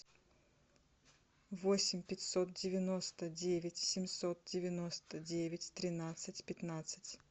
восемь пятьсот девяносто девять семьсот девяносто девять тринадцать пятнадцать